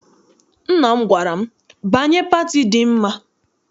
Nna m gwara m, banye pati dị mma!